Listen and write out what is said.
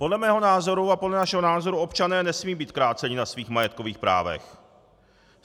Podle mého názoru a podle našeho názoru občané nesmějí být kráceni na svých majetkových právech.